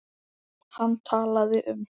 Hann talaði um